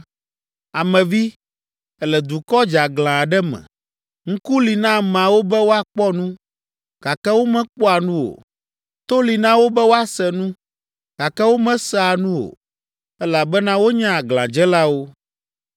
“Ame vi, èle dukɔ dzeaglã aɖe me. Ŋku li na ameawo be woakpɔ nu, gake womekpɔa nu o, to li na wo be woase nu, gake womesea nu o, elabena wonye aglãdzelawo.